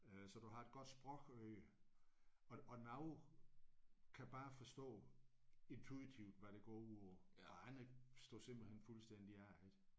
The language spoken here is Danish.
Øh så du har et godt sprogøre og og nogle kan bare forstå intuitivt hvad det går ud på og andre står simpelthen fuldstændig af ik